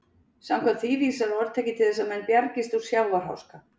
Samkvæmt því vísar orðtakið til þess að menn bjargist úr sjávarháska.